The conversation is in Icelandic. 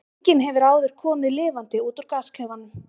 Enginn hefur áður komið lifandi út úr gasklefanum.